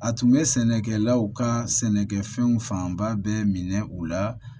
A tun bɛ sɛnɛkɛlaw ka sɛnɛkɛfɛnw fanba bɛɛ minɛ u la